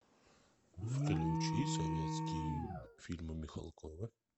включи советские фильмы михалкова